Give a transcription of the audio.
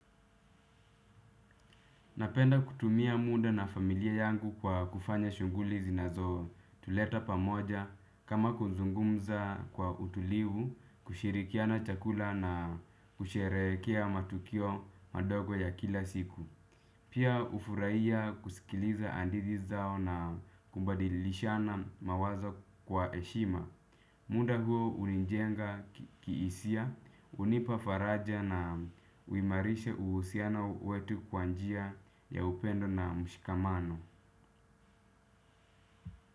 Napenda kutumia muda na familia yangu kwa kufanya shughuli zinazo tuleta pamoja kama kuzungumza kwa utulivu kushirikiana chakula na kusherehekea matukio madogo ya kila siku. Pia hufurahia kusikiliza hadithi zao na kubadilishana mawazo kwa heshima. Muda huo hunijenga kihisia, hunipa faraja na huimarisha uhusiana wetu kwa njia ya upendo na mshikamano.